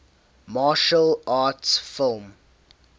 martial arts film